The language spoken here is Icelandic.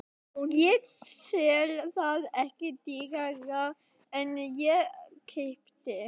Ég sel það ekki dýrara en ég keypti.